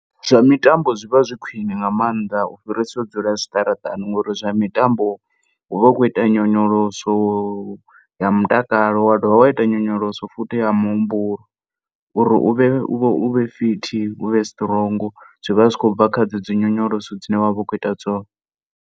Zwa mitambo zwi vha zwi khwiṋe nga maanḓa u fhirisa u dzula zwiṱaraṱani ngori zwa mitambo uvha u khou ita nyonyoloso ya mutakalo wa dovha wa ita nyonyoloso futhi ya muhumbulo uri u vhe fit u vhe strong, zwi vha zwi khou bva kha dzedzo nyonyoloso dzine vha khou ita dzone.